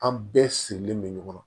An bɛɛ sirilen bɛ ɲɔgɔn na